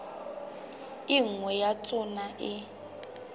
e nngwe ya tsona e